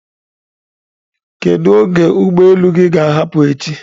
Kedu oge ụgbọ elu gị ga-ahapụ echi?